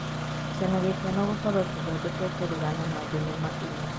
Twĩna gĩkeno gũkorwo tũthondekete rũgano na thenema ĩno.